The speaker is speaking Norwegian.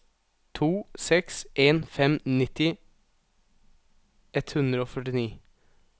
to seks en fem nitti ett hundre og førtini